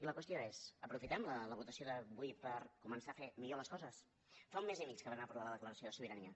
i la qüestió és aprofitem la votació d’avui per començar a fer millor les coses fa un mes i mig que vam aprovar la declaració de sobirania